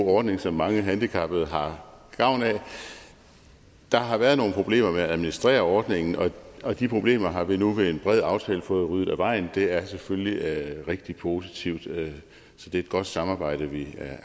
ordning som mange handicappede har gavn af der har været nogle problemer med at administrere ordningen og og de problemer har vi nu ved en bred aftale fået ryddet af vejen det er selvfølgelig rigtig positivt så det er et godt samarbejde vi